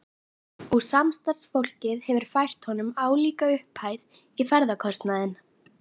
Og samstarfsfólkið hefur fært honum álíka upphæð í ferðakostnaðinn.